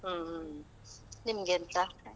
ಹ್ಮ್ ಹ್ಮ್. ನಿಮ್ಗೆಂತ?